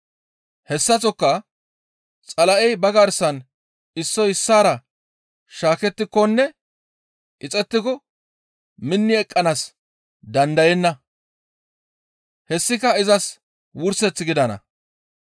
Hessaththoka Xala7ey ba garsan issoy issaara shaakettikonne ixettiko minni eqqanaas dandayenna. Hessika izas wurseth gidana.